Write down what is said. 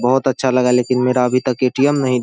बोहत अच्छा लगा है लेकिन मेरा अभी तक ऐ.टी.एम्. नही --